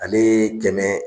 Ale tɛnɛ